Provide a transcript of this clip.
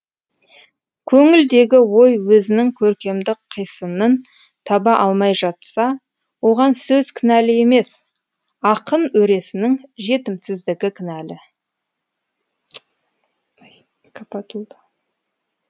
көңілдегі ой өзінің көркемдік қисынын таба алмай жатса оған сөз кінәлі емес ақын өресінің жетімсіздігі кінәлі